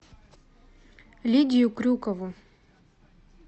лидию крюкову